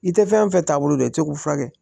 I tɛ fɛn fɛn taa bolo dɔn i tɛ k'u furakɛ